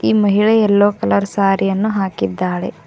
ಈ ಮಹಿಳೆ yellow colour sari ಯನ್ನು ಹಾಕಿದ್ದಾಳೆ.